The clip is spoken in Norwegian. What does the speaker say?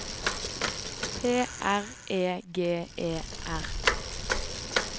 P R E G E R